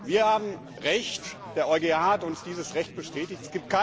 Wir haben Recht, der EuGH hat uns dieses Recht bestätigt.